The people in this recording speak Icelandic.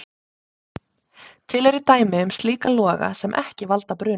Til eru dæmi um slíka loga sem ekki valda bruna.